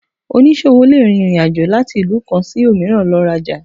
Onísọwo le rín ìrín àjọ latí ilú kan sí omìràn lo ra ojà